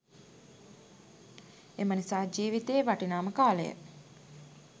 එමනිසා ජීවිතයේ වටිනාම කාලය